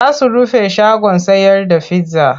Za su rufe shagon sayar da pizza.